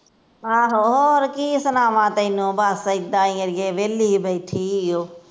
ਆਹੋ ਹੋਰ ਕੀ ਸੁਣਾਵਾ ਤੇਨੂੰ ਬਸ ਅਏਦਾ ਹੀ ਅੜੀਏ ਵੇਹਲੀ ਬੈਠੀ ਈ ਓ